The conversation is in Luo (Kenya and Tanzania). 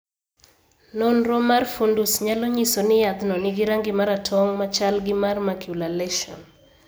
Nonro mar fundus nyalo nyiso ni yadhno nigi rangi maratong machal gi mar macular lesion.